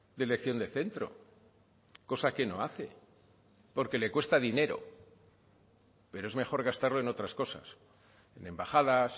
de elección de centro cosa que no hace porque le cuesta dinero pero es mejor gastarlo en otras cosas en embajadas